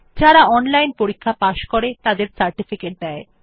যারা অনলাইন পরীক্ষা পাস করে তাদের সার্টিফিকেট দেয়